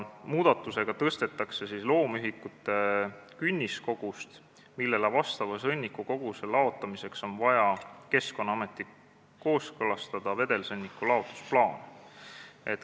Muudatusega tõstetakse loomühikute arvu , millele vastava sõnnikukoguse laotamiseks on vaja Keskkonnaametiga kooskõlastada vedelsõnniku laotusplaan.